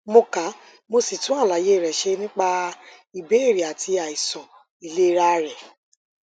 mo ka mo sì tún àlàyé rẹ ṣe nípa ìbéèrè àti àìsàn ìlera rẹ